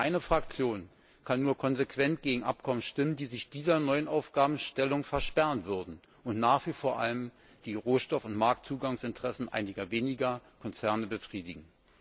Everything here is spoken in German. Meine Fraktion kann nur konsequent gegen Abkommen stimmen, die sich dieser neuen Aufgabenstellung versperren würden und nach wie vor vor allem die Rohstoff und Marktzugangsinteressen einiger weniger Konzerne befriedigen.